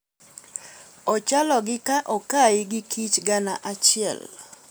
"Ochalo gi ka okai gi kich gana achiel.